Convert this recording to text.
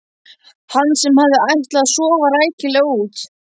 Hann sem hafði ætlað að sofa rækilega út.